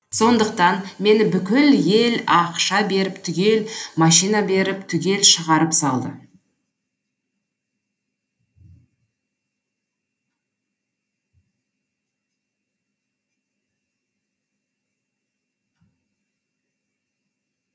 сондықтан мені бүкіл ел ақша беріп түгел машина беріп түгел шығарып салды